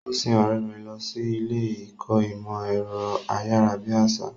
Ó sin ọ̀rẹ́ rẹ̀ lọ sí ilé ìkọ́ ìmọ̀ ẹ̀rọ ayárabíàṣá.